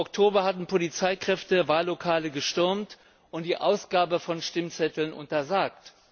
19. Oktober hatten Polizeikräfte Wahllokale gestürmt und die Ausgabe von Stimmzetteln untersagt.